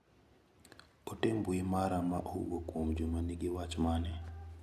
Ote mbui mara ma owuok kuom Juma nigi wach mane?